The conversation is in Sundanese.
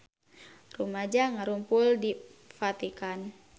Rumaja ngarumpul di Vatikan